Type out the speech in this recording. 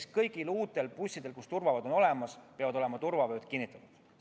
Ehk kõigil uutel bussidel, kus turvavööd on olemas, peavad olema need kinnitatud.